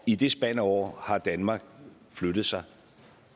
i det spand af år har danmark flyttet sig